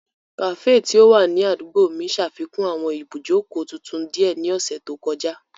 Kafee ti o wa ni adugbo mi ṣafikun awọn ibujoko tuntun diẹ ni ọsẹ to kọja.